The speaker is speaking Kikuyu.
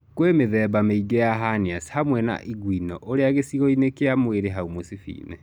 Kwĩ mĩthemba mĩingĩ ya hernias hamwe na inguinal ũrĩa gicigoinĩ kia mwĩrĩ hau mũcibiinĩ.